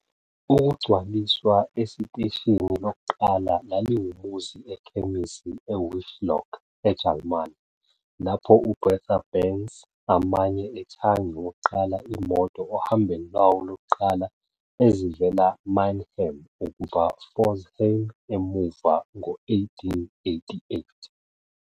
Ukugcwaliswa esiteshini lokuqala laliwumuzi ekhemisi e Wiesloch, eJalimane, lapho u-Bertha Benz amanye ethangini wokuqala imoto ohambweni lwawo lokuqala ezivela Mannheim ukuba Pforzheim emuva ngo-1888.